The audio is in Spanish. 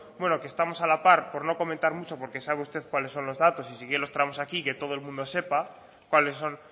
bueno que estamos a la par por no comentar mucho porque sabe usted cuáles son los datos y si quiere los tramos aquí que todo el mundo sepa cuáles son